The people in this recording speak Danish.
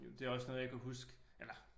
Det også noget jeg kan huske eller